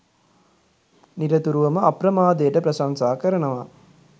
නිරතුරුවම අප්‍රමාදයට ප්‍රශංසා කරනවා